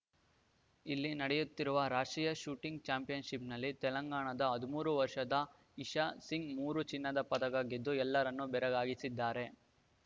ಇಲ್ಲಿ ನಡೆಯುತ್ತಿರುವ ರಾಷ್ಟ್ರೀಯ ಶೂಟಿಂಗ್‌ ಚಾಂಪಿಯನ್‌ಶಿಪ್‌ನಲ್ಲಿ ತೆಲಂಗಾಣದ ಹದಿಮೂರು ವರ್ಷದ ಇಶಾ ಸಿಂಗ್‌ ಮೂರು ಚಿನ್ನದ ಪದಕ ಗೆದ್ದು ಎಲ್ಲರನ್ನು ಬೆರಗಾಗಿಸಿದ್ದಾರೆ